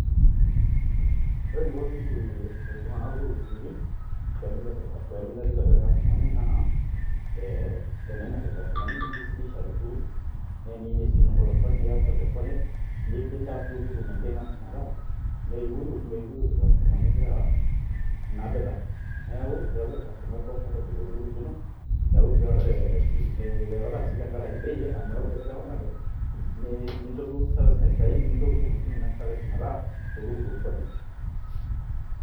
Ore eniko ltunganak loltukutuki pemilepilep irkastomani na teninap irkastomani nimisidisha toltuktuk niya polepole nintass duo oltukutuk maintainance metaa meyukuyuk irkastomani inapita neaku keaku orkastomai comfortable toltuktuk lino miyarara si tenkaraki bei neaku ielewanate ninchob service naistahili metaa oltukutuk quality